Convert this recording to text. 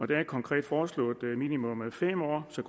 det er konkret foreslået være minimum fem år så